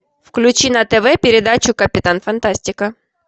включи на тв передачу капитан фантастика